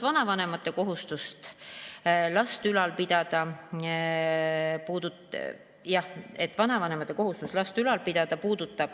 Vanavanemate kohustus last ülal pidada puudutab alaealisi lapsi.